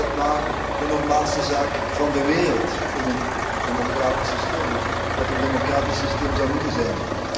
Eigenlijk is dat maar de normaalste zaak van de wereld in een democratisch systeem of wat een democratisch systeem zou moeten zijn.